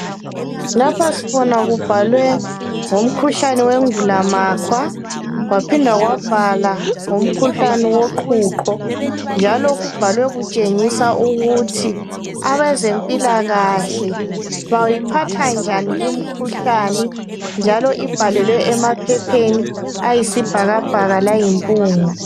Lapha sibona kubhalwe ngomkhuhlane wengulamakhwa, kwaphinda kwabhalwa ngomkhuhlane woqhuqho. Njalo kubhalwe kutshengiswa ukuthi abezempilakahle bayiphathanjani limkhuhlani. Njalo ibhalelwe emaphetsheni ayisibhakabhaka layimpunga.